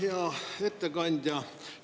Hea ettekandja!